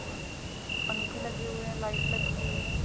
और पंखे लगे हुए हैं लाइट लगी हुई है। ।